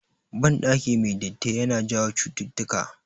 Ban ɗaki mai datti yana jawo chututtuka